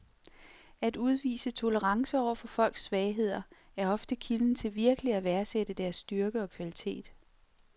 At udvise tolerance over for folks svagheder er ofte kilden til virkelig at værdsætte deres styrke og kvalitet.